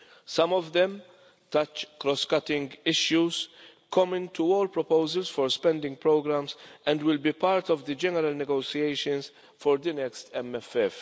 Some of them touch cross cutting issues common to all proposals for spending programmes and will be part of the general negotiations for the next MFF.